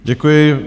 Děkuji.